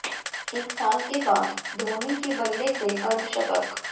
एक साल के बाद धोनी के बल्ले से अर्धशतक